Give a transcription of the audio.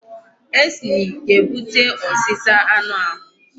Acne ga-ebute ọzịza anụ ahụ.